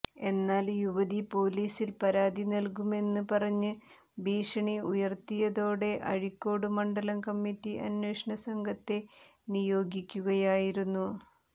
എന്നാൽ യുവതി പൊലീസിൽ പരാതി നൽകുമെന്ന് പറഞ്ഞ് ഭീഷണി ഉയർത്തിയതോടെ അഴീക്കോട് മണ്ഡലം കമ്മിറ്റി അന്വേഷണ സംഘത്തെ നിയോഗിക്കുകയായിരുന്നു